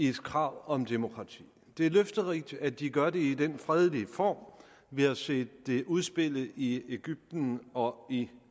et krav om demokrati det er løfterigt at de gør det i den fredelige form vi har set det udspille sig i i egypten og i